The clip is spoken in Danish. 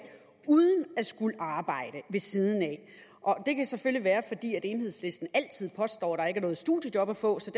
uden at skulle arbejde ved siden af det kan selvfølgelig være fordi enhedslisten altid påstår der ikke er nogen studiejob at få så